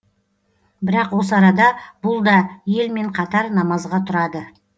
бірақ осы арада бұл да елмен қатар намазға тұрады